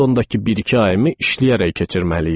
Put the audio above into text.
Londondakı bir-iki ayımı işləyərək keçirməli idim.